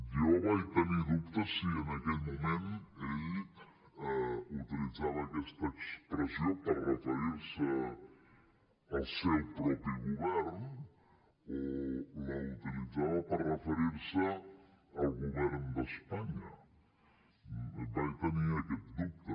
jo vaig tenir dubtes de si en aquell moment ell utilitzava aquesta expressió per referir se al seu propi govern o la utilitzava per referir se al govern d’espanya vaig tenir aquest dubte